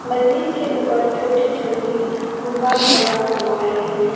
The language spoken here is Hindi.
मंदिर के ऊपर छोटी छोटी गुंबद बना हुआ है।